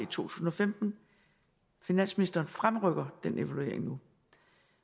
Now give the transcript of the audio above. tusind og femten finansministeren fremrykker den evaluering nu